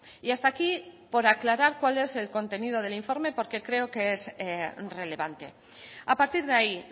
y hasta aquí por aclarar cuál es el contenido del informe porque creo que es relevante a partir de ahí